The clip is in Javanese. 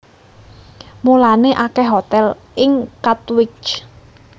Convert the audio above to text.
Mulané akèh hotèl ing Katwijk